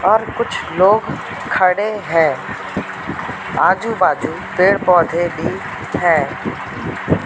और कुछ लोग खड़े हैं। आजू-बाजू पेड़-पौधे भी है।